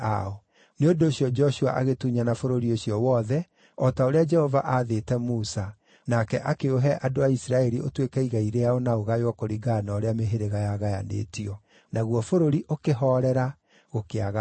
Nĩ ũndũ ũcio Joshua agĩtunyana bũrũri ũcio wothe, o ta ũrĩa Jehova aathĩte Musa, nake akĩũhe andũ a Isiraeli ũtuĩke igai rĩao na ũgaywo kũringana na ũrĩa mĩhĩrĩga yagayanĩtio. Naguo bũrũri ũkĩhoorera, gũkĩaga mbaara.